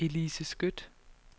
Elise Skøtt